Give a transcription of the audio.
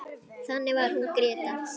Þannig var hún Gréta.